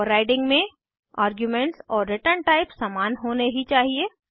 overriding में arguments और return type समान होने ही चाहिए